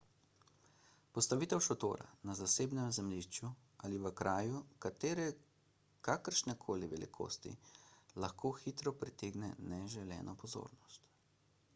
postavitev šotora na zasebnem zemljišču ali v kraju kakršnekoli velikosti lahko hitro pritegne neželeno pozornost